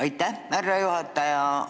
Aitäh, härra juhataja!